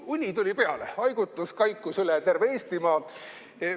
Uni tuli peale, haigutus kaikus üle terve Eestimaa.